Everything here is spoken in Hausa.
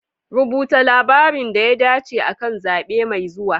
Rubuta labarin da ya dace akan zabe mai zuwa.